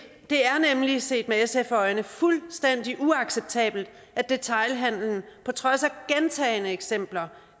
er nemlig set med sfs øjne fuldstændig uacceptabelt at detailhandlen på trods af gentagne eksempler